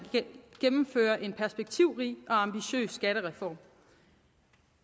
gennemfører en perspektivrig og ambitiøs skattereform